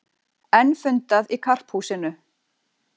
Enn fundað í Karphúsinu